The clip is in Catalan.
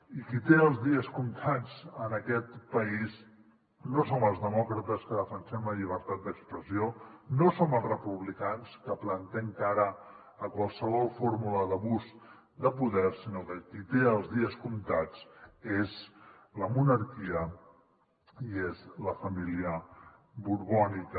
i qui té els dies comptats en aquest país no som els demòcrates que defensem la llibertat d’expressió no som els republicans que plantem cara a qualsevol fórmula d’abús de poder sinó que qui té els dies comptats és la monarquia i és la família borbònica